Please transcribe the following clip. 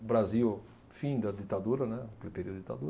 O Brasil, fim da ditadura, né, do período de ditadura.